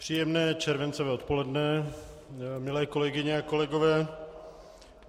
Příjemné červencové odpoledne, milé kolegyně a kolegové.